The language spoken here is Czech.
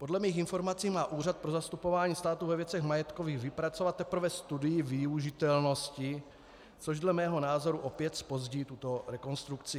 Podle mých informací má Úřad pro zastupování státu ve věcech majetkových vypracovat teprve studii využitelnosti, což dle mého názoru opět zpozdí tuto rekonstrukci.